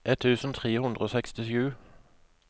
ett tusen tre hundre og sekstisju